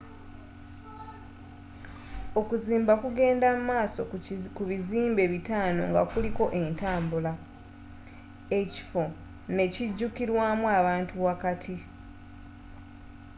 okuzimba kugenda mu maaso ku bizimbe bitano nga kuliko entambula ekifo n'ekijukilwamu abantu wakati